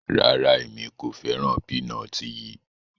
Rárá, Emi ko fẹran pinọti yii